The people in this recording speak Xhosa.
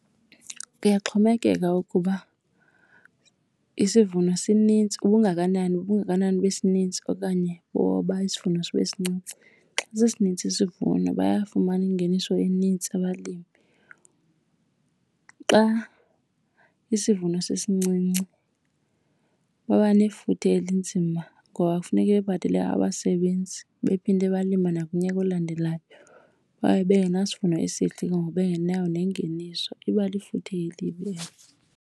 Kuyaxhomekeka ukuba isivuno sinintsi, ubungakanani ubungakanani besininzi okanye boba isivuno sibe sincinci. Xa sisininzi isivuno bayafumana ingeniso enintsi abalimi. Xa isivuno sisincinci baba nefuthe elinzima ngoba kufuneke bebhatele abasebenzi bephinde balima nakunyaka olandelayo. Babe bengenasivuno esihle ke ngoku bengenayo nengeniso, iba lifuthe elibi.